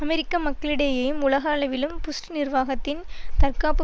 அமெரிக்க மக்களிடையேயும் உலக அளவிலும் புஷ் நிர்வாகத்தின் தற்காப்பு